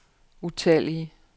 utallige